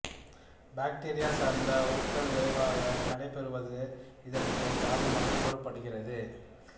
bacteria சார்ந்த உக்கல் விரைவாக நடைபெறுவது இதற்குக் காரணமாகக் கூறப்படுகின்றது